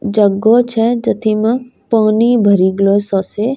जग्गो छै जती म पानी भरी गलो सो से।